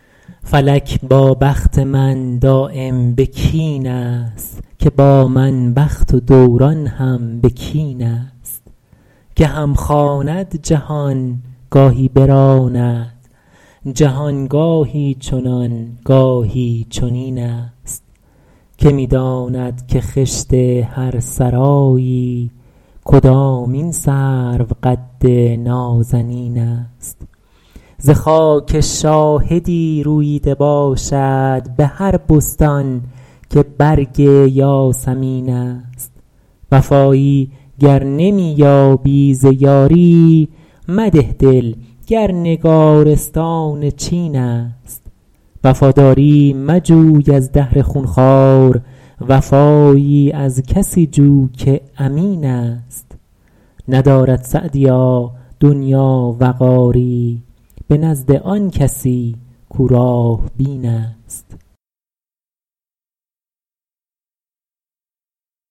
فلک با بخت من دایم به کین است که با من بخت و دوران هم به کین است گهم خواند جهان گاهی براند جهان گاهی چنان گاهی چنین است که می داند که خشت هر سرایی کدامین سروقد نازنین است ز خاک شاهدی روییده باشد به هر بستان که برگ یاسمین است وفایی گر نمی یابی ز یاری مده دل گر نگارستان چین است وفاداری مجوی از دهر خونخوار وفایی از کسی جو که امین است ندارد سعدیا دنیا وقاری به نزد آن کسی کاو راه بین است